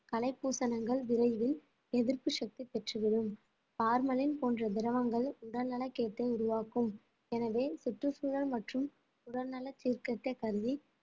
களை பூசணங்கள் விரைவில் எதிர்ப்பு சக்தி பெற்றுவிடும் பார்மலின் போன்ற திரவங்கள் உடல்நலக் கேட்டை உருவாக்கும் எனவே சுற்றுச்சூழல் மற்றும் உடல்நல சீர்கேட்டை கருதி